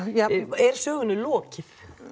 er sögunni lokið